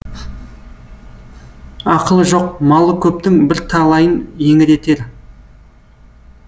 ақылы жоқ малы көптің бірталайын еңіретер